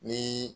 Ni